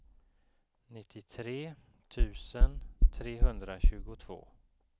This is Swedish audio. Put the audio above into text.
nittiotre tusen trehundratjugotvå